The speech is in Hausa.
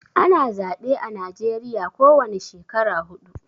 Ana zaɓe a najeriya ko wani shekara huɗu